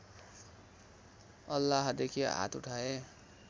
अल्लाहदेखि हात उठाए